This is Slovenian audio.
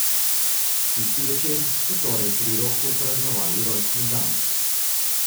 Tisti večer so torej pri Roku praznovali rojstni dan.